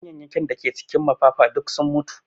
Ganyenyakin da ke cikin mafafa duk sun mutu